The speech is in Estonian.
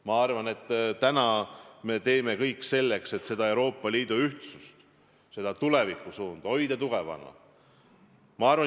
Ma arvan, et täna me teeme kõik selleks, et Euroopa Liidu ühtsust, seda tulevikusuunda tugevana hoida.